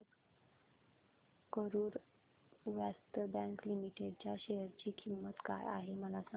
आज Karur Vysya bank limited च्या share ची किंमत काय आहे मला सांगा